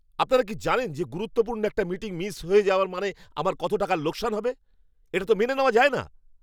আপনারা কি জানেন যে গুরুত্বপূর্ণ একটা মিটিং মিস করে যাওয়ায় আমার কত টাকার লোকসান হবে? এটা তো মেনে নেওয়া যায় না!